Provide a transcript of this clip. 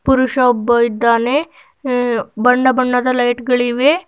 ಪುರುಷ ಒಬ್ಬ ಇದ್ದಾನೆ ಅ- ಬಣ್ಣ ಬಣ್ಣದ ಲೈಟ್ ಗಳಿವೆ.